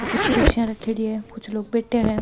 और कुछ कुर्सियां रखेड़ी है कुछ लोग बैठा है।